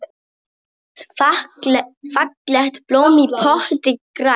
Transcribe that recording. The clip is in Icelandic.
Fallegt blóm í potti grær.